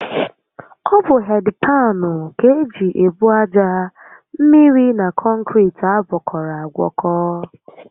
Ọ bụ hedị paanụ ka eji ebu aja, mmiri na kọnkiriti agwọkọrọ agwọkọ